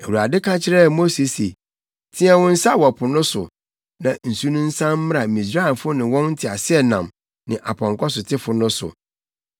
Awurade ka kyerɛɛ Mose se, “Teɛ wo nsa wɔ po no so, na nsu no nsan mmra Misraimfo ne wɔn nteaseɛnam ne apɔnkɔsotefo no so.”